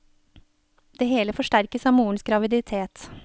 Det hele forsterkes av morens graviditet.